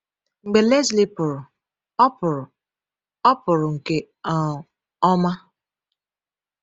Mgbe Lesley pụrụ, ọ pụrụ, ọ pụrụ nke um ọma.